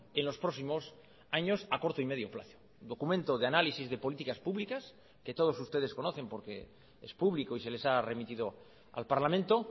en los próximos años a corto y medio plazo documento de análisis de políticas públicas que todos ustedes conocen porque es público y se les ha remitido al parlamento